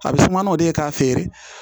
A bɛ suma n'o de ye k'a feere